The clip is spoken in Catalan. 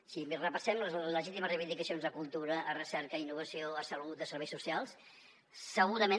si repassem les legítimes reivindicacions a cultura a recerca a innovació a salut a serveis socials segurament